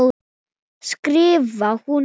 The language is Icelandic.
skrifar hún heim.